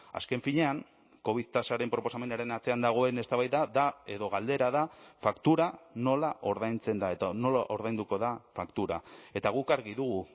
azken finean covid tasaren proposamenaren atzean dagoen eztabaida da edo galdera da faktura nola ordaintzen da eta nola ordainduko da faktura eta guk argi dugu